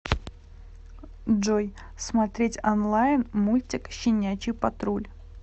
джой смотреть онлайн мультик щенячий патруль